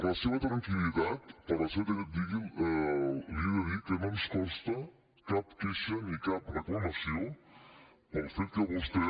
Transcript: la seva tranquil·litat li he de dir que no ens consta cap queixa ni cap reclamació pel fet que vostè